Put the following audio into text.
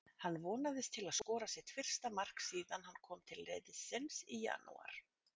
Hann vonast til að skora sitt fyrsta mark síðan hann kom til liðsins í janúar.